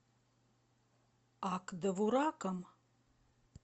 ак довураком